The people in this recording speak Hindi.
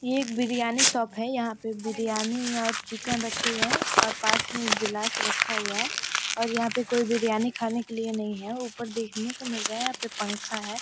ये एक बिरयानी की शॉप है यहाँ पर बिरयानी और चिकन रखे हुए हैं और पास में एक गिलास रखा हुआ है और यहाँ पर कोई बिरयानी खाने के लिए नहीं है ऊपर देखने को मिल रहा है यहा पे पंखा हैं।